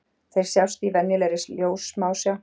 Þeir sjást í venjulegri ljóssmásjá.